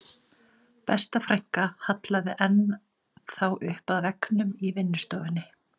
Besta frænka hallaði enn þá upp að veggnum í vinnustofunni